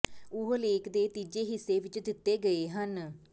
ਉਹ ਲੇਖ ਦੇ ਤੀਜੇ ਹਿੱਸੇ ਵਿਚ ਦਿੱਤੇ ਗਏ ਹਨ